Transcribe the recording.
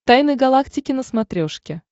тайны галактики на смотрешке